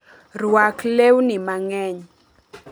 Rwak leuni mang'eny.